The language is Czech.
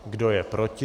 Kdo je proti?